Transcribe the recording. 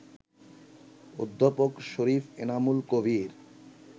অধ্যাপক শরীফ এনামুল কবির